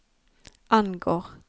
angår